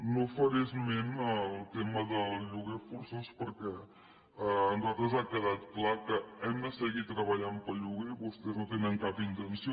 no faré esment del tema del lloguer forçós perquè a nosaltres ens ha quedat clar que hem de seguir treballant pel lloguer vostès no en tenen cap intenció